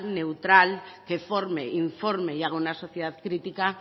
neutral que forme informe y haga una sociedad crítica